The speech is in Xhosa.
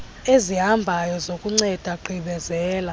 ezihambayo zokunceda gqibezela